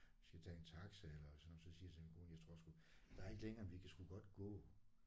Vi skal tage en taxa eller sådan så siger jeg til min kone jeg tror sgu der er ikke længere end vi kan sgu godt gå